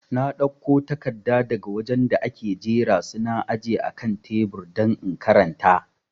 Na dauko takarda daga wajen da ake jera su na aje akan tebur don in karanta